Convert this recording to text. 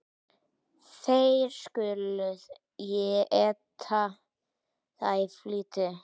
Þér skuluð eta það í flýti.